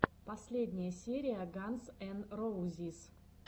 последняя серия ганз эн роузиз